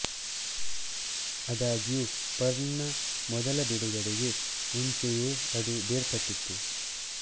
ಆದಾಗ್ಯೂ ಪರ್ಲ್ ನ ಮೊದಲ ಬಿಡುಗಡೆಗೆ ಮುಂಚೆಯೇ ಅದು ಬೇರ್ಪಟ್ಟಿತು